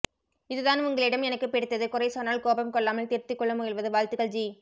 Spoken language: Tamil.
இதுதான் உங்களிடம் எனக்குப் பிடித்தது குறை சொன்னால் கோபம் கொள்ளாமல் திருத்திக் கொள்ள முயல்வது வாழ்த்துகள் ஜி